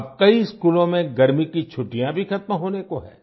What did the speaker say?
अब कई स्कूलों में गर्मी की छुट्टियाँ भी खत्म होने को है